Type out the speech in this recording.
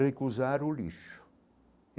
Recusar o lixo.